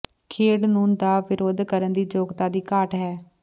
ਖੇਡ ਨੂੰ ਦਾ ਵਿਰੋਧ ਕਰਨ ਦੀ ਯੋਗਤਾ ਦੀ ਘਾਟ ਹੈ